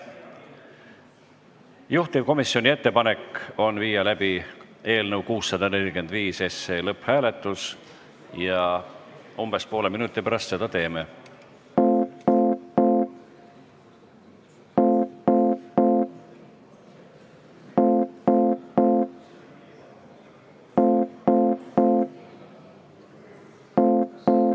Juhtivkomisjoni ettepanek on viia läbi eelnõu 645 lõpphääletus ja umbes poole minuti pärast seda teeme.